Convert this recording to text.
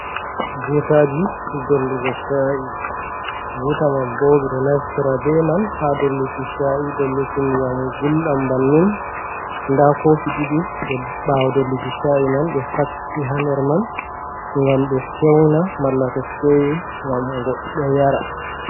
Butaaji dollugo shaii. Buta man bo ɓe ɗo naftira be man ha dolluki shaii, dolluki ndiyam gulɗam bannin. Nda koofi ɗiɗi ɓawo dolluki shaii man, ɓe facci ha nder man ngam ɓe fewnaa. Malla to fewi gam goɗɗo yara.